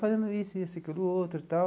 Fazendo isso, isso, aquilo, outro e tal.